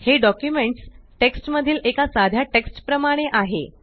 हे documents text मधील एका सध्या टेक्स्ट प्रमाणे आहे